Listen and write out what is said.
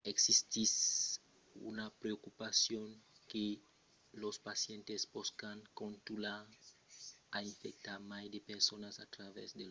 existís una preocupacion que los pacients pòscan contunhar a infectar mai de personas a travèrs de lor rotina jornalièra se los simptòmes de la gripa demòran leugièrs